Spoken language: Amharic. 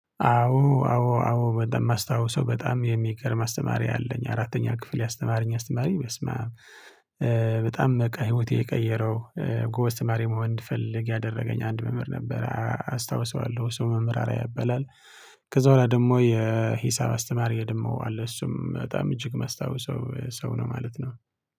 አዎ አዎ አዎ በጣም የማስታውሰው በጣም የሚገርም አስተማሪ አለኝ አራተኛ ክፍል ያስተማረኝ አስተማሪ በስመ አብ በጣም በቃ ህይወቴ የቀየረው ጎበዝ ተማሪ መሆን እንድፈልግ ያደረገኝ አንድ መምህር ነበር አስታውሰዋለሁ ስውመምህር አርአያ ያበላል። ከዛ በኋላ ደግሞ የሂሳብ አስተማሪ ደግሞ አለ እሱም በጣም እጅግ መስታወስ ሰው ሰው ነው ማለት ነው